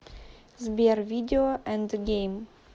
сбер видео энд гейм